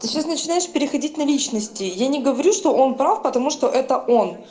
сейчас начинаешь переходить на личности я не говорю что он прав потому что это